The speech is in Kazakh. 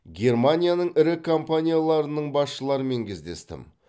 германияның ірі компанияларының басшыларымен кездестім